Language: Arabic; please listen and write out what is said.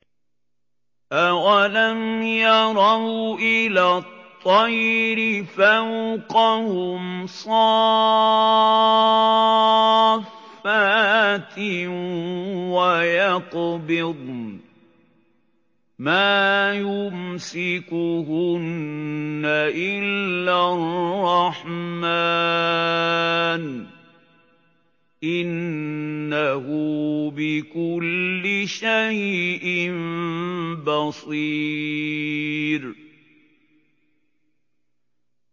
أَوَلَمْ يَرَوْا إِلَى الطَّيْرِ فَوْقَهُمْ صَافَّاتٍ وَيَقْبِضْنَ ۚ مَا يُمْسِكُهُنَّ إِلَّا الرَّحْمَٰنُ ۚ إِنَّهُ بِكُلِّ شَيْءٍ بَصِيرٌ